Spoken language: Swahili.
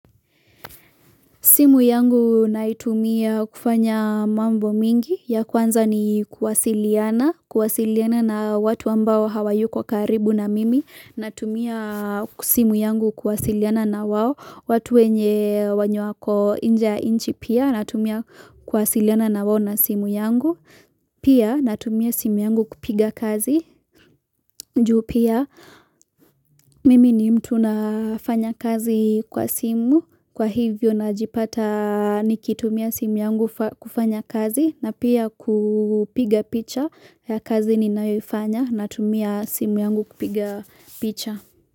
Simu yangu naitumia kufanya mambo mingi, ya kwanza ni kuwasiliana, kuwasiliana na watu ambao hawayu kwa karibu na mimi, na tumia. Simu yangu kuwasiliana na wawo, watu wenye wenye wako inje ya inchi pia, na tumia kuwasiliana na wawo na simu yangu, pia na tumia simu yangu kupiga kazi, juu pia mimi ni mtu nafanya kazi kwa simu, Kwa hivyo na jipata ni kitumia simu yangu kufanya kazi na pia kupiga picha ya kazi ni nayoifanya na tumia simu yangu kupiga picha.